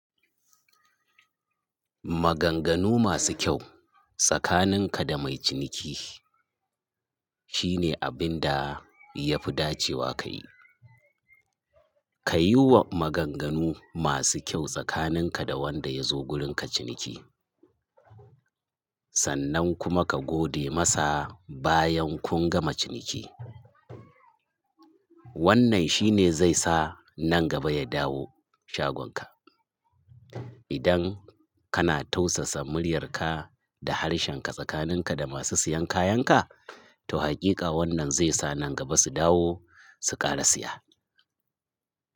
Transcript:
Maganganu masu kyau tsakaninka da mai ciniki shine abin da ya fi dacewa ka yi. Ka yiwa maganganu masu kyau tsakaninka da wanda ya zo wurinka ciniki, sannan kuma ka gode masa bayan kun gama ciniki. Wannan shi ne zai sa nan gaba ya dawo shagonka. Idan kana tausasa muryarka da harshenka tsakaninka da masu siyan kayanka, to hakika wannan zai sa nan gaba su dawo su ƙara siya.